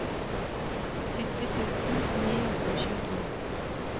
sytti tusen ni hundre og tjueto